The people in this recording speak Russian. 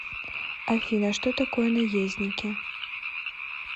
афина что такое наездники